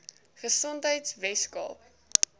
gesondheidweskaap